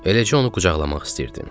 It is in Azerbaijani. Eləcə onu qucaqlamaq istəyirdim.